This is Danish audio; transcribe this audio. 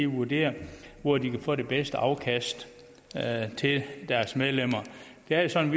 vurderer hvor de kan få det bedste afkast til deres medlemmer det er jo sådan